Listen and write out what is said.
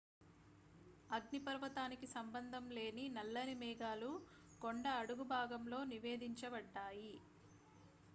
అగ్నిపర్వతానికి సంబంధం లేని నల్లని మేఘాలు కొండ అడుగుభాగంలో నివేదించబడ్డాయి